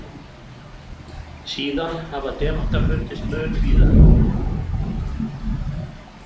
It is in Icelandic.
Síðan hafa demantar fundist mun víðar.